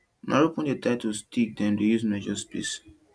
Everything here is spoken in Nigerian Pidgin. na rope wey dem tie to stick dem use measure space